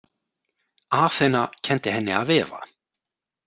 Aþena kenndi henni að vefa.